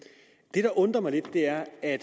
det der undrer mig lidt er at